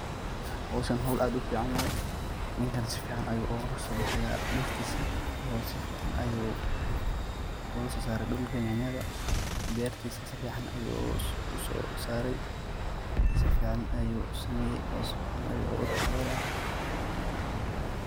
Howshan howl aad u fican waye, ninkan si fican ayu ogola so baxaya dirtisa oo si fican ayu oga so sare dhulka yanyada, bertisa si fican ayu uu so sarey si fican ayu u sameye oo si fican ayu oga taxa daraya.